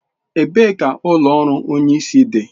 Ebee ka ụlọ ọrụ Onye isi dị?